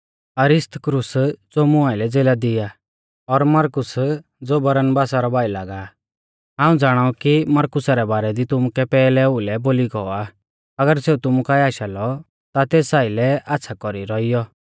अरिस्तर्खुस ज़ो मुं आइलै ज़ेला दी आ और मरकुस ज़ो बरनबासा रौ भाई लागा आ हाऊं ज़ाणाऊ कु मरकुसा रै बारै दी तुमुकै पैहलै ओउलै बोली गौ आ अगर सेऊ तुमु काऐ आशा लौ ता तेस आइलै आच़्छ़ा कौरी रौइयौ